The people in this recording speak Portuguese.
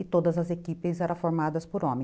E todas as equipes eram formadas por homens.